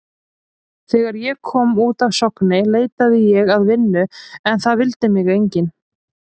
Þegar ég kom út af Sogni leitaði ég að vinnu en það vildi mig enginn.